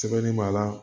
Sɛbɛnni b'a la